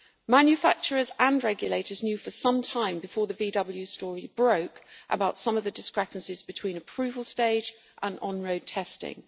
Manufacturers and regulators knew for some time before the VW story broke about some of the discrepancies between the approval stage and on road testing.